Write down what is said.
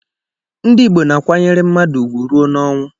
Ndị Igbo na-akwanyere mmadụ ugwu ruo n'ọnwụ